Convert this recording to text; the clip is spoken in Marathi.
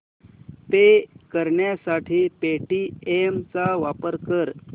पे करण्यासाठी पेटीएम चा वापर कर